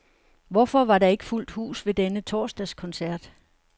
Hvorfor var der ikke fuldt hus ved denne torsdagskoncert?